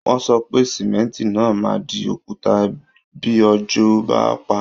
Wọ́n sọ pé Símẹ́ńtì náà máa di òkúta bí òjò bá paá